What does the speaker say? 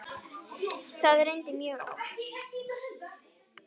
Það reyndi mjög á.